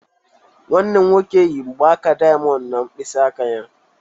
Nwanne m nwoke yi mgbaaka diamond na mkpịsị aka ya